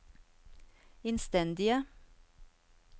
innstendige